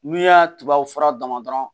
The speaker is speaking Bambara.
N'u y'a tubabu fura dama dama